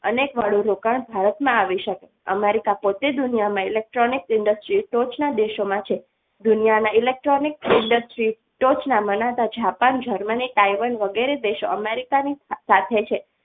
અનેક વાળું રોકાણ ભારત માં આવીઓ સકે America પોતે દુનિયામાં electronic industries ટોચ ના દેશો માં છે દુનિયાના electronic industries ટોચ ના મનાતા જાપાન જર્મની તાયવાન વગેરે દેશો America ની સાથ છે.